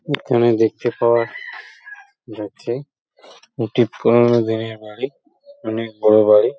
এইখেনে দেখতে পাওয়া যাচ্ছে একটি পুরোনো দিনের বাড়ি | অনেক বড়ো বাড়ি।